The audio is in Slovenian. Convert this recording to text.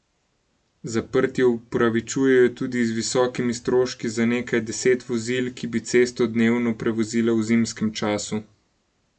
Zaprtje upravičujejo tudi z visokimi stroški za nekaj deset vozil, ki bi cesto dnevno prevozila v zimskem času.